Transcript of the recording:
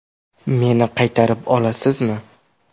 Meni qaytarib olasizmi?